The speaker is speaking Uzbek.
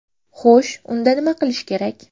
Xo‘sh, unda nima qilish kerak?